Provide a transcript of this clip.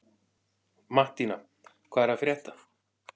Mattína, hvað er að frétta?